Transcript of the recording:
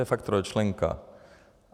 je fakt trojčlenka.